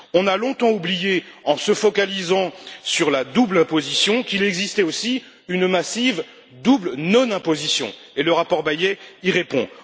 On a longtemps oublié, en se focalisant sur la double imposition, qu'il existait aussi une massive double non imposition, et le rapport Bayet y répond.